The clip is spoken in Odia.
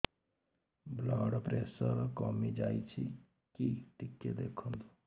ବ୍ଲଡ଼ ପ୍ରେସର କମି ଯାଉଛି କି ଟିକେ ଦେଖନ୍ତୁ